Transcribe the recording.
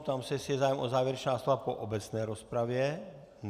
Ptám se, jestli je zájem o závěrečná slova po obecné rozpravě.